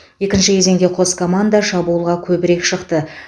екінші кезеңде қос команда шабуылға көбірек шықты